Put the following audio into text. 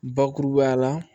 Bakurubaya la